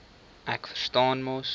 ek verstaan mos